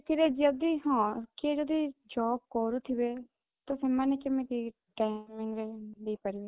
ଏଥିରେ ଯଦି ହଁ କିଏ ଯଦି ଜବ କରୁଥିବେ ତ ସେମାନେ କେମିତି timing ରେ ଦେଇପାରିବେ